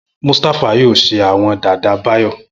Mustapha yoo ṣe awọn dada Bayo.